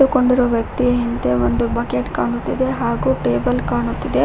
ನಿಂತ್ಕೊಂಡಿರೋ ವ್ಯಕ್ತಿ ಹಿಂದೆ ಒಂದು ಬಕೆಟ್ ಕಾಣುತ್ತಿದೆ ಹಾಗು ಟೇಬಲ್ ಕಾಣುತ್ತಿದೆ.